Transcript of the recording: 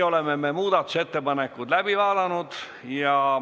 Oleme muudatusettepanekud läbi vaadanud.